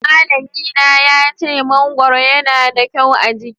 Malllami na ya ce mangoro yana da kyau a giki